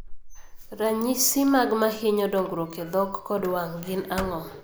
Ranyisi mag mahinyo dongruok e dhok kod wang' gin ang'o?